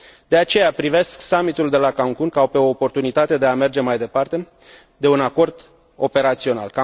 De aceea privesc Summitul de la Cancun ca pe o oportunitate de a merge mai departe de un acord operațional.